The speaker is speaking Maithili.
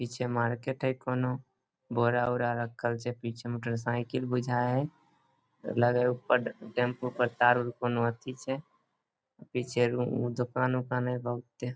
इ छे मार्केट कोनो बोरा औरा रखल छे पीछे मोटर साइकिल बुझाए हे लगे हे ऊपर टैम्पू पे तार उर कोनो एथी छे पीछे रू दुकान उकान हाई बहुते।